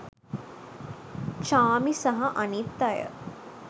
චාර්මි සහ අනිත් අය